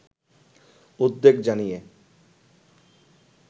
উদ্বেগ জানিয়ে